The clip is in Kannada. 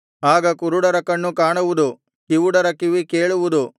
ಆಗ ಕುರುಡರ ಕಣ್ಣು ಕಾಣುವುದು ಕಿವುಡರ ಕಿವಿ ಕೇಳುವುದು